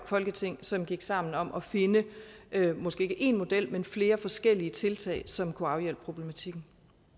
folketinget som gik sammen om at finde måske ikke én model men flere forskellige tiltag som kunne afhjælpe problematikken